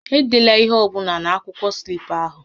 Edela ihe ọ bụla na-akwụkwọ slip ahụ!